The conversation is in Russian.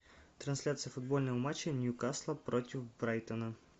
трансляция футбольного матча ньюкасла против брайтона